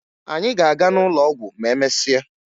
Anyị ga-aga n'ụlọ ọgwụ ma emesịa